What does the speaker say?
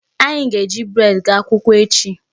Anyị ga-eji bread gaa akwụkwọ echi.